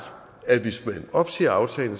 at hvis man opsiger aftalen